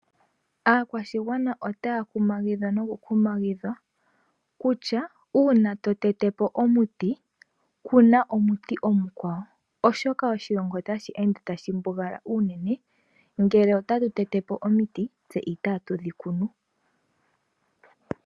Aakwashigwana otaya kumagidhwa noku kumagidhwa kutya uuna to te te po omuti kuna onuti omukwawo oshoka oshilongo otashi ende tashi mbugala unene ngele otatu te te te po omiti tse itaa tudhi kunu.